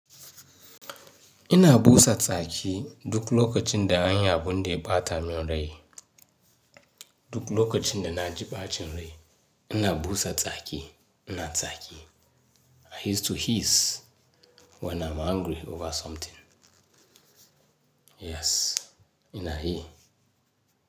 Ina busa tsaki duk lokacin da anyi abun da ya bata min rai. Duk lokacin da na ji ɓacin rai ina busa tsaki, ina tsaki. I used to hiss when I'm angry over something. Yes, ina yi.